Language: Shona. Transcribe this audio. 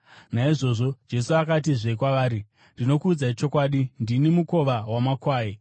Naizvozvo Jesu akatizve kwavari, “Ndinokuudzai chokwadi, ndini mukova wamakwai.